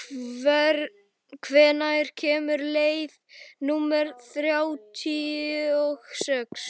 hvenær kemur leið númer þrjátíu og sex?